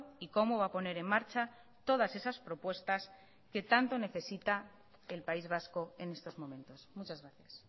y cómo va a poner en marcha todas esas propuestas que tanto necesita el país vasco en estos momentos muchas gracias